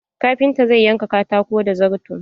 Kafinta zai yanka katakon da zarto.